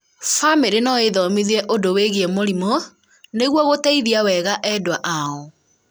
bamĩrĩ no ĩĩthomithie ũndũ wĩgiĩ mũrimũ nĩguo gũteithia wega endwa ao